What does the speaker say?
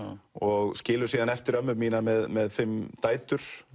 og skilur síðan eftir ömmu mína með fimm dætur